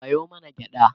Sayo mana gyaɗa